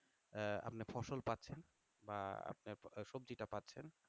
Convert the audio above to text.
আহ আপনি ফসল পাচ্ছেন বা আপনি সবজি টা পাচ্ছেন?